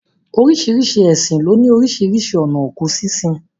Oríṣiríṣi ẹ̀sìn ló ní oríṣiríṣi ònà òkú sínsin.